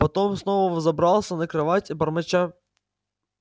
потом снова взобрался на кровать бормоча